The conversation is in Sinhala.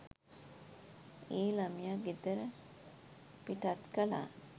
ඒ ළමය ගෙදර පිටත් කළා